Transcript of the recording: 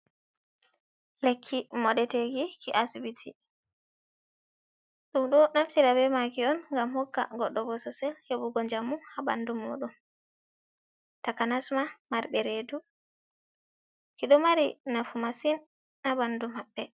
Lekki moɗeteki ki asibiti. Ɗum ɗo naftira be maki on gam hokka goɗɗo bosesel heɓugo njamu ha bandu mudum. takanasma marbe redu. Ki ɗo mari nafu masin ha bandu mabbe.